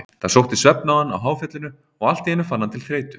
Það sótti svefn á hann á háfjallinu og allt í einu fann hann til þreytu.